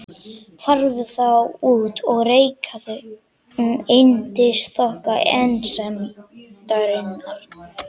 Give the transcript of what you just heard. Farðu þá út og reikaðu um yndisþokka einsemdarinnar.